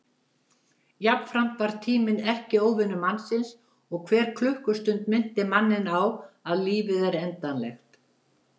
Jafnframt varð tíminn erkióvinur mannsins og hver klukkustund minnti manninn á að lífið er endanlegt.